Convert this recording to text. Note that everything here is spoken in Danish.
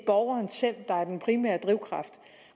borgeren selv der er den primære drivkraft